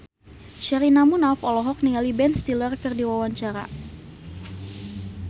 Sherina Munaf olohok ningali Ben Stiller keur diwawancara